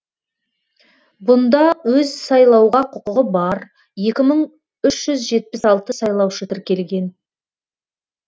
бұнда өз сайлауға құқығы бар екі мың үш жүз жетпіс алты сайлаушы тіркелген